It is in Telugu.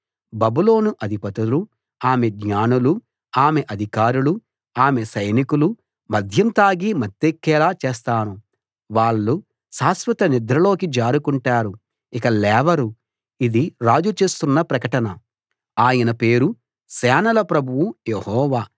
బబులోను అధిపతులూ ఆమె జ్ఞానులూ ఆమె అధికారులూ ఆమె సైనికులూ మద్యం తాగి మత్తెక్కేలా చేస్తాను వాళ్ళు శాశ్వత నిద్రలోకి జారుకుంటారు ఇక లేవరు ఇది రాజు చేస్తున్న ప్రకటన ఆయన పేరు సేనల ప్రభువైన యెహోవా